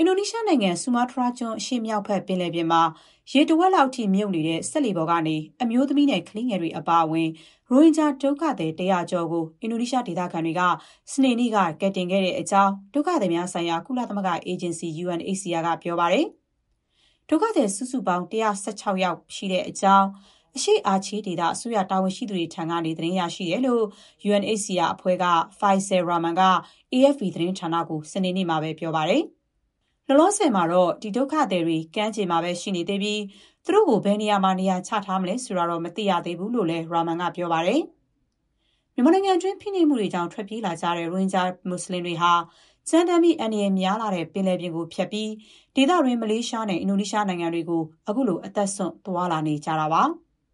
အင်ဒိုနီးရှားနိုင်ငံ ဆူမားတြားကျွန်း အရှေ့မြောက်ဘက် ပင်လယ်ပြင်မှာ တဝက်လောက်အထိ ရေထဲနစ်မြှုပ်နေတဲ့ စက်လှေပေါ်ကနေ အမျိုးသမီးနဲ့ ကလေးငယ်တွေ အပါအဝင် ရိုဟင်ဂျာ ဒုက္ခသည် ၁၀၀ ကျော်ကို အင်ဒိုနီးရှား ဒေသခံတွေက စနေနေ့က ကယ်တင်ခဲ့တဲ့ အကြောင်း ဒုက္ခသည်များဆိုင်ရာ ကုလသမဂ္ဂ အေဂျင်စီ UNHCR က ပြောပါတယ်။ ဒုက္ခသည် စုစုပေါင်း ၁၁၆ ယောက် ရှိတဲ့အကြောင်း အရှေ့ အာချေးဒေသ အစိုးရတာဝန်ရှိသူတွေ ထံကနေ သတင်းရရှိတယ်လို့ UNHCR အဖွဲ့က Faisal Rahman က AFP သတင်းဌာနကို စနေနေ့မှာပဲ ပြောပါတယ်။ လောလောဆယ်မှာတော့ ဒီဒုက္ခသည်တွေ ကမ်းခြေမှာပဲ ရှိနေသေးပြီး သူတို့ကို ဘယ်နေရာမှာ နေရာချထားမလဲ ဆိုတာတော့ မသိရသေးဘူးလို့လည်း Rahman က ပြောပါတယ်။ မြန်မာနိုင်ငံတွင်း ဖိနှိပ်မှုတွေကြောင့် ထွက်ပြေးလာကြတဲ့ ရိုဟင်ဂျာ မွတ်ဆလင်တွေဟာ ကြမ်းတမ်းပြီး အန္တရာယ်များလှတဲ့ ပင်လယ်ပြင်ကိုဖြတ်ပြီး ဒေသတွင်း မလေးရှားနဲ့ အင်ဒိုနီးရှားနိုင်ငံတွေကို အခုလို အသက်စွန့် သွားလာနေကြတာပါ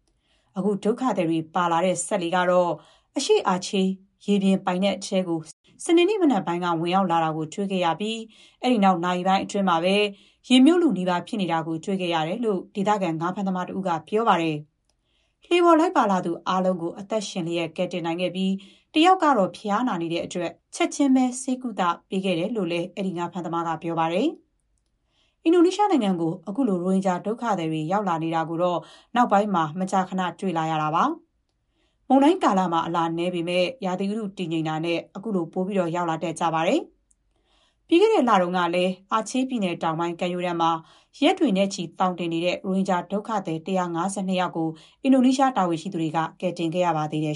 ။ အခုဒုက္ခသည်တွေ ပါလာတဲ့ စက်လှေကတော့ အရှေ့အာချေး ရေပြင်နယ်နိမိတ်ထဲကို စနေနေ့ မနက်ပိုင်းက ဝင်ရောက်တာကို တွေ့ခဲ့ရပြီး အဲ့ဒီနောက် နာရီပိုင်းအတွင်းမှာပဲ ရေမြှုပ်လုနီးပါး ဖြစ်နေတာကို တွေ့ခဲ့ရတယ်လို့ ဒေသခံ ငါးဖမ်းသမား တဦးက ပြောပါတယ်။ လှေပေါ် လိုက်ပါလာသူအားလုံးကို အသက်ရှင်လျက် ကယ်တယ်နိုင်ခဲ့ပြီး တယောက်ကတော့ ဖျားနေတဲ့အတွက် ချက်ချင်းပဲ ဆေးကုသပေးနေတဲ့အကြောင်းလည်း အဲ့ဒီငါးဖမ်းသမားက ပြောပါတယ်။ အင်ဒိုနီးရှားကို အခုလို ရိုဟင်ဂျာ ဒုက္ခသည်တွေ ရောက်လာနေတာကို နောက်ပိုင်း မကြာခဏ တွေ့လာနေရတာပါ။ မုန်တိုင်းကာလမှာ အလာနည်းပေမဲ့ ရာသီဥတု တည်ငြိမ်တာနဲ့ အခုလို ရောက်လာတတ်ကြပါတယ်။ ပြီးခဲ့တဲ့လတုန်းကလည်း အာချေးပြည်နယ် တောင်ပိုင်း ကမ်းရိုးတန်းမှာ ရက်တွေနဲ့ချီ သောင်တင်နေတဲ့ ရိုဟင်ဂျာ ဒုက္ခသည် ၁၅၂ ယောက်ကို အင်ဒိုနီးရှား တာဝန်ရှိသူတွေက ကယ်တင်ခဲ့ရပါသေးတယ်